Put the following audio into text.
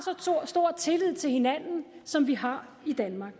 så stor tillid til hinanden som vi har i danmark